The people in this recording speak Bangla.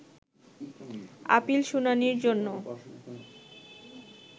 আপিল শুনানির জন্য